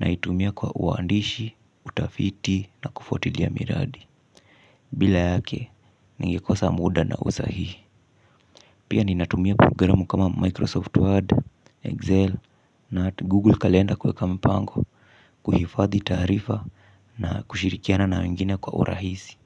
naitumia kwa uandishi, utafiti na kufuatilia miradi. Bila yake, ningekosa muda na usahihi. Pia ninatumia programu kama Microsoft Word, Excel na Google Calendar kuweka mpango kuhifadhi tarifa na kushirikiana na wengine kwa urahisi.